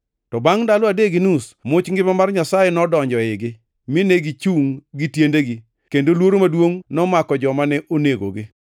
To bangʼ ndalo adek gi nus much ngima mar Nyasaye nodonjo eigi, mine gichungʼ gi tiendegi, kendo luoro maduongʼ nomako joma ne onenogi.